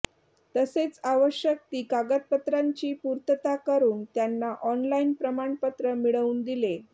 तसेच आवश्यक ती कागदपत्रांची पूर्तता करून त्यांना ऑनलाईन प्रमाणपत्र मिळवून दिले